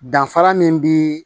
Danfara min bi